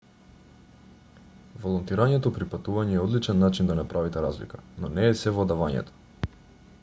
волонтирањето при патување е одличен начин да направите разлика но не е сѐ во давањето